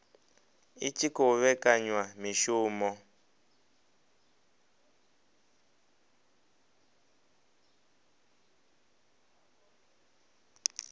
i tshi khou vhekanya mishumo